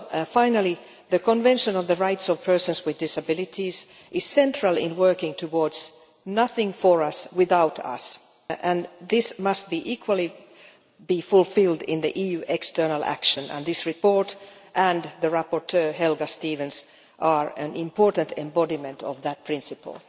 Finally, the Convention on the Rights of Persons with Disabilities is central in working towards Nothing About Us Without Us' and this must equally be fulfilled in EU external action. This report and the rapporteur, Helga Stevens, are an important embodiment of that principle.